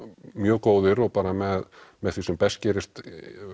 mjög góðir og með með því sem best gerist